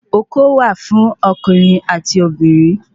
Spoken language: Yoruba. Oko wà fún okùnrin ati obìnrin